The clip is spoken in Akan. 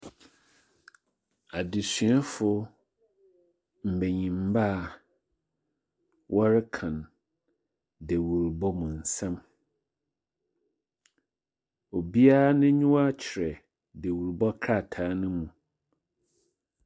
Adzesuafo mbenyinba a wɔrekan dewurbɔ mu nsɛm. Obiara n'enyiwa kyerɛ dewurbɔ krataa no mu.